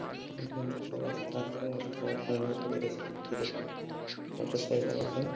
এখানে একটা রাস্তা আছে ।রাস্তার মধ্যে অনেকগুলি স্কুটি আছে মোটর সাইকেল আছে ।